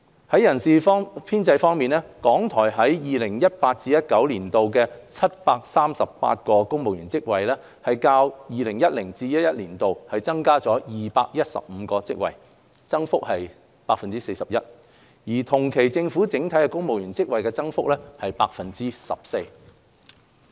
在人事編制方面，港台於 2018-2019 年度的738個公務員職位，較 2010-2011 年度增加了215個職位，增幅為 41%， 而同期政府整體的公務員職位增幅為 14%。